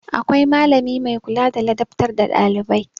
Akwai malami mai kula da ladabtar da ɗailibai.